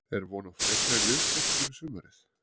Er von á frekari liðsstyrk fyrir sumarið?